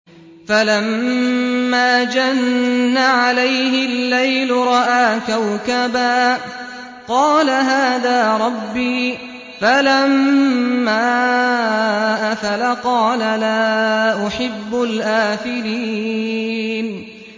فَلَمَّا جَنَّ عَلَيْهِ اللَّيْلُ رَأَىٰ كَوْكَبًا ۖ قَالَ هَٰذَا رَبِّي ۖ فَلَمَّا أَفَلَ قَالَ لَا أُحِبُّ الْآفِلِينَ